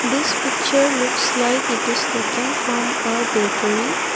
this picture looks like it is taken from a bakery.